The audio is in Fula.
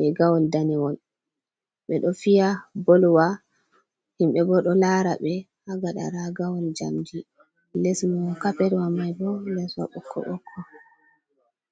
rigawol danewol. Ɓe ɗo fiya bolwa himɓe bo ɗo lara ɓe haa gada ragawol jamdi, les mon kapetwa mai bo les wa bokko-bokko.